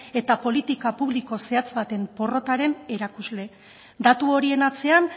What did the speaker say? eta politika publiko zehatz baten porrotaren erakusle datu horien atzean